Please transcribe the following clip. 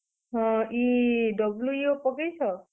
ହଁ, ଇ WEO ପକେଇଛ?